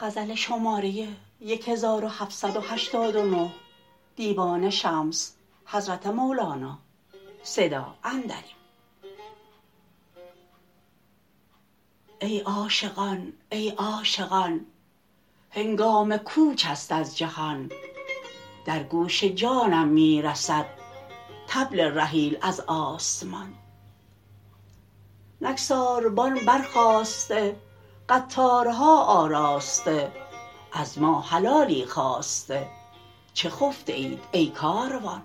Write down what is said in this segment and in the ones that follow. ای عاشقان ای عاشقان هنگام کوچ است از جهان در گوش جانم می رسد طبل رحیل از آسمان نک ساربان برخاسته قطارها آراسته از ما حلالی خواسته چه خفته اید ای کاروان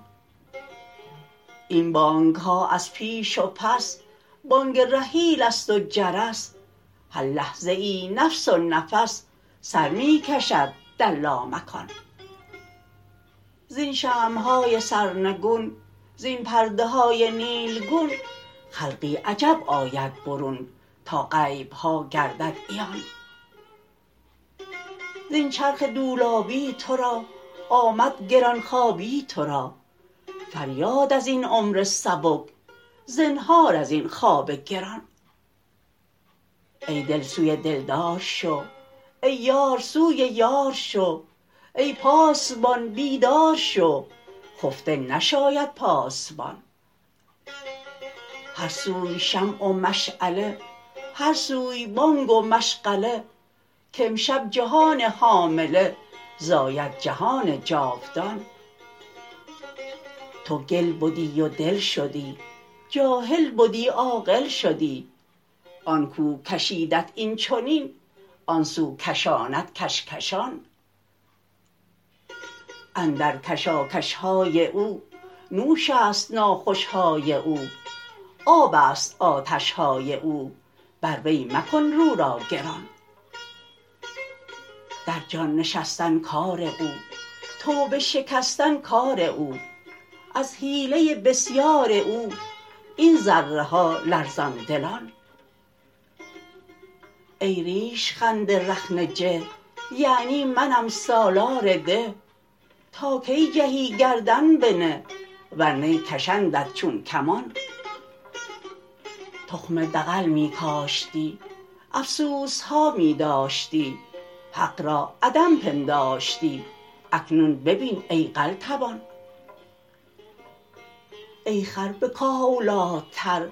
این بانگ ها از پیش و پس بانگ رحیل است و جرس هر لحظه ای نفس و نفس سر می کشد در لامکان زین شمع های سرنگون زین پرده های نیلگون خلقی عجب آید برون تا غیب ها گردد عیان زین چرخ دولابی تو را آمد گران خوابی تو را فریاد از این عمر سبک زنهار از این خواب گران ای دل سوی دلدار شو ای یار سوی یار شو ای پاسبان بیدار شو خفته نشاید پاسبان هر سوی شمع و مشعله هر سوی بانگ و مشغله کامشب جهان حامله زاید جهان جاودان تو گل بدی و دل شدی جاهل بدی عاقل شدی آن کو کشیدت این چنین آن سو کشاند کش کشان اندر کشاکش های او نوش است ناخوش های او آب است آتش های او بر وی مکن رو را گران در جان نشستن کار او توبه شکستن کار او از حیله بسیار او این ذره ها لرزان دلان ای ریش خند رخنه جه یعنی منم سالار ده تا کی جهی گردن بنه ور نی کشندت چون کمان تخم دغل می کاشتی افسوس ها می داشتی حق را عدم پنداشتی اکنون ببین ای قلتبان ای خر به کاه اولی تری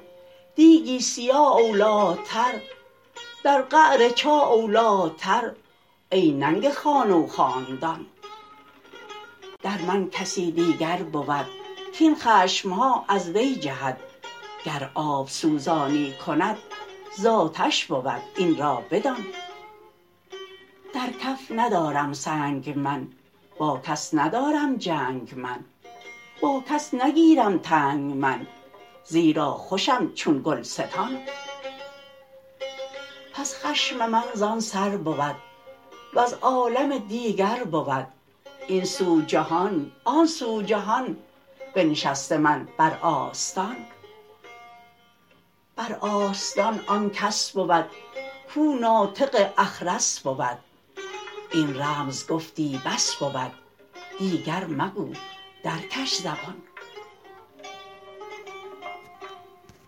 دیگی سیاه اولی تری در قعر چاه اولی تری ای ننگ خانه و خاندان در من کسی دیگر بود کاین خشم ها از وی جهد گر آب سوزانی کند زآتش بود این را بدان در کف ندارم سنگ من با کس ندارم جنگ من با کس نگیرم تنگ من زیرا خوشم چون گلستان پس خشم من زان سر بود وز عالم دیگر بود این سو جهان آن سو جهان بنشسته من بر آستان بر آستان آن کس بود کو ناطق اخرس بود این رمز گفتی بس بود دیگر مگو در کش زبان